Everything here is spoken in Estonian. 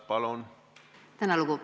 Palun!